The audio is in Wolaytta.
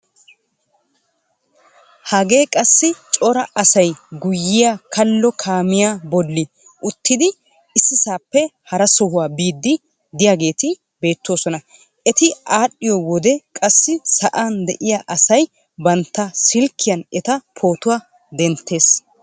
Hagee qassi cora asay guyyiyaa kallo kaamiyaa bolli uttidi issisaappe hara sohuwaa biidi de'iyaageti beettoosona. Eti adhiyoo wode qassi sa'an de'iyaa asay bantta silkkiyaan eta pootuwaa denttees.